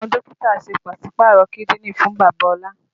Àwọn Dókítà ṣe pásípàrọ kídìní fún bàbá ola